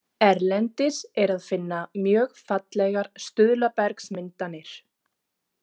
Erlendis er að finna mjög fallegar stuðlabergsmyndanir.